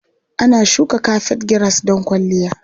Ana shuka kafet giras don kwalliya.